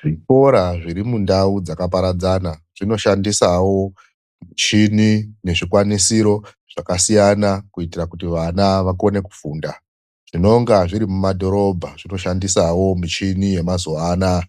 Zvikora zviri mundau dzakaparadzana zvinoshandisawo michini nezvikwanisiro zvakasiyana kuitira kuti vana vakone kufunda. Zvinonga zviri mumadhorobha zvinoshandisawo michini yemazuwa anaya